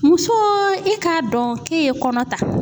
Musoo i k'a dɔn k'e ye kɔnɔ ta